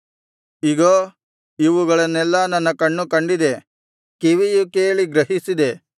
ಇಗೋ ಇವುಗಳನ್ನೆಲ್ಲಾ ನನ್ನ ಕಣ್ಣು ಕಂಡಿದೆ ಕಿವಿಯು ಕೇಳಿ ಗ್ರಹಿಸಿದೆ